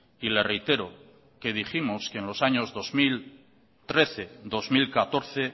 y le reitero que dijimos que en los años dos mil trece dos mil catorce